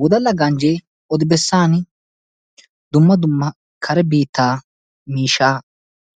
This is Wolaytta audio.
Wodalla ganjje odi-bessan dumma dumma kare biitta miishshaa